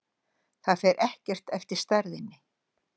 Það fer ekkert eftir stærðinni.